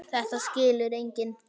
Þetta skilur enginn.